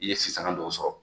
I ye sisanga dɔw sɔrɔ